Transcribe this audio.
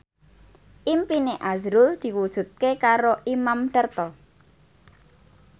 impine azrul diwujudke karo Imam Darto